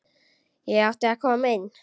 Ég átti að koma inn!